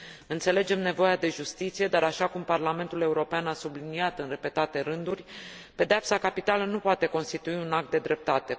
Înțelegem nevoia de justiție, dar, așa cum Parlamentul European a subliniat în repetate rânduri, pedeapsa capitală nu poate constitui un act de dreptate.